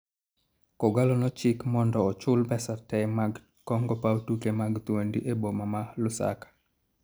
K'Ogalo ne ochik mondo ochul pesa te mag kongo paw tuke mag Thuondi e boma ma Lusaka